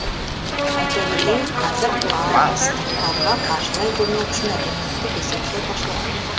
айта кетейік қазір арыстықтарға қаржылай көмек үшін әлеуметтік есеп шот ашылған